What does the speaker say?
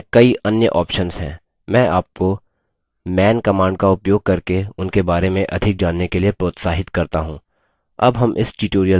मैं आपको man command का उपयोग करके उनके बारे में अधिक जानने के लिए प्रोत्साहित करता हूँ